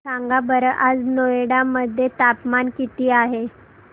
सांगा बरं आज नोएडा मध्ये तापमान किती आहे